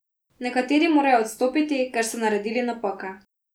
Nekateri morajo odstopiti, ker so naredili napake.